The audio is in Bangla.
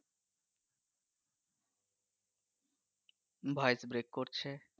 voice break করছে